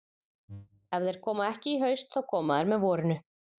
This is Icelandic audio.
Ef þeir koma ekki í haust þá koma þeir með vorinu.